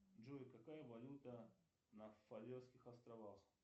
джой какая валюта на фарерских островах